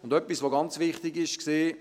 Und etwas, das ganz wichtig war: